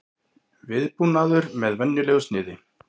Viðbúnaður með venjulegu sniði